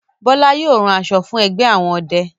Bola yóò ràn aṣọ fún ẹgbẹ àwọn ọdẹ.